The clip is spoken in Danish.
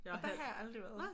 Nå der har jeg aldrig været